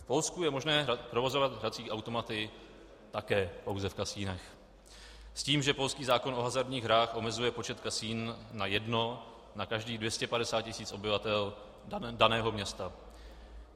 V Polsku je možné provozovat hrací automaty také pouze v kasinech s tím, že polský zákon o hazardních hrách omezuje počet kasin na jedno na každých 250 tisíc obyvatel daného města.